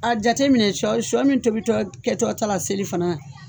A jate minɛ shɔ shɔ min tobi kɛtɔ ta la seli fana.